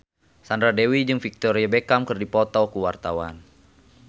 Sandra Dewi jeung Victoria Beckham keur dipoto ku wartawan